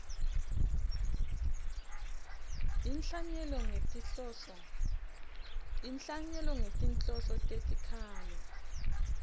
inhlanyelo ngetinhloso tetikhalo